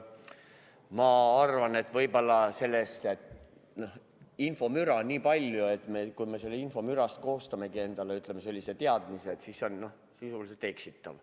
Ma arvan, et kui infomüra on nii palju ja kui me selle peale koostamegi endale mingi teadmise, siis see on sisuliselt eksitav.